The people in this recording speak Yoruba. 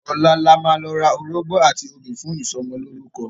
Ọ̀la la máa lọ ra orógbó àti obì fún ìsọmọlórúkọ.